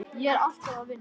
Ég er alltaf að vinna.